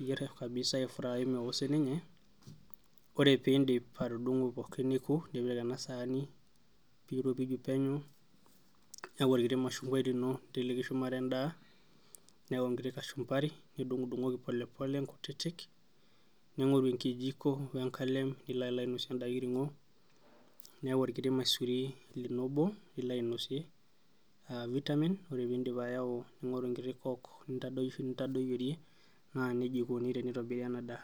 niyierr kabisa ae fry kabisa mewo sininye ore pindip atudung'o pookin neku nipik ena saani piropiju penyo niaku orkiti mashunguai lino ninteleki shumata endaa niyau enkiti kashumbari nidung'udung'oki pole pole nkutitik ning'oru enkijiko wenkalem nilo alo ainosie enda kiring'o niyau orkiti maisuri lino obo lilo ainosie uh vitamin ore pindip ayau ning'oru enkiti coke nintadosh nintadoyiorie naa nejia eikoni tenitobiri ena daa.